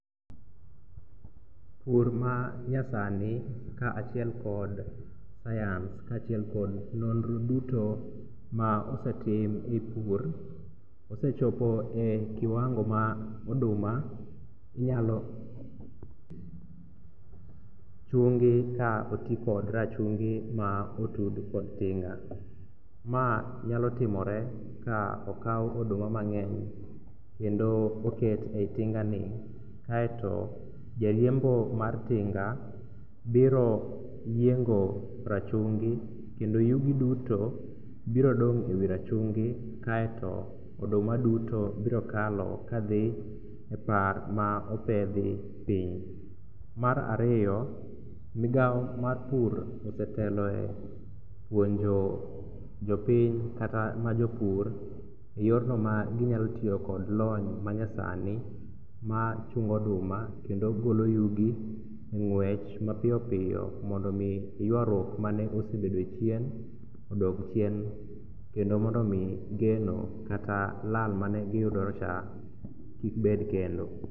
Pur manyasni kaachiel kod science kaachiel kod nonro duto ma osetim e pur osechopo e kiwango ma oduma inyalo chungi ka otikod rachungi ma oti kod tinga. Ma nyalotimore ka okaw oduma mang'eny kendo oket e i tingani kaeto jariembo mar tinga biro yiengo rachungi kendo yugi duto biro dong' e wi rachungi kaeto oduma duto biro kalo kadhi e par ma opedhi piny. Mar ariyo migao mar pur oseteloe puonjo jopiny kata majopur e yorno maginyalo tiyo kod lony manyasni machungo oduma kendo golo yugi e ng'wech mapiyoppiyo mondo omi ywaruok manosebedoe chien odog chien kendo mondo omi geno kata lal manegiyudocha kikbed kendo.